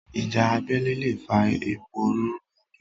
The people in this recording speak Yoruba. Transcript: Ìjà abélé lè fa ìpòrúrú ọkàn.